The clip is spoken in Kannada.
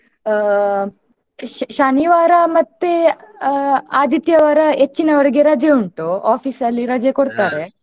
ಆ ಶ~ ಶನಿವಾರ ಮತ್ತೆ ಆ ಆದಿತ್ಯವಾರ ಹೆಚ್ಚಿನವ್ರಿಗೆ ರಜೆ ಉಂಟು office ಅಲ್ಲಿ ರಜೆ .